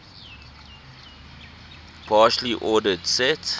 partially ordered set